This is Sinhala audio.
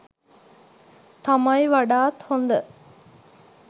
තමයි වඩාත් හොඳ.